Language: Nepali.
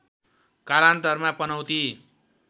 कालान्तरमा पनौती